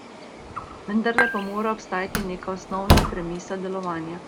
Vendarle pa mora obstajati neka osnovna premisa delovanja.